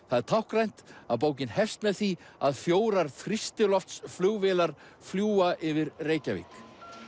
það er táknrænt að bókin hefst með því að fjórar þrýstiloftsflugvélar fljúga yfir Reykjavík